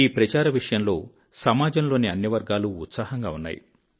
ఈ ప్రచారం విషయంలో సమాజం లోని అన్ని వర్గాలు ఉత్సాహంగా ఉన్నాయి